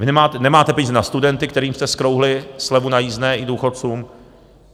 Vy nemáte peníze na studenty, kterým jste zkrouhli slevu na jízdné i důchodcům.